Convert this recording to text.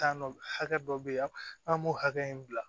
hakɛ dɔ be yen an m'o hakɛ in bila